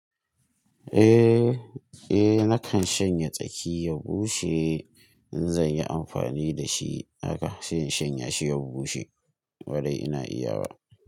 Nakan shanya tsaki ya bushe in zan yi amfani da shi haka, sai in shanya shi ya bushe. Kwarai ina iya wa.